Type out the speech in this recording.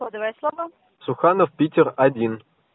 кодовое слово суханов питер один